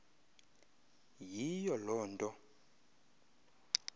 yiyo loo nto